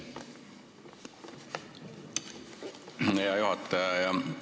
Hea juhataja!